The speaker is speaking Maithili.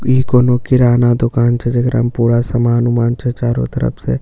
ई कोनो किराना दुकान छे जेकरा मे पूरा सामान-उमान छै चारो तरफ से समान--